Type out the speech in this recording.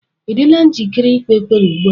Ị dịla njikere ikpe ekpere ugbu a?